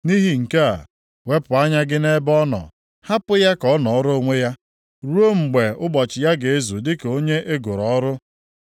Nʼihi nke a, wepụ anya gị nʼebe ọ nọ, hapụ ya ka ọ nọọrọ onwe ya ruo mgbe ụbọchị ya ga-ezu dịka onye e goro ọrụ.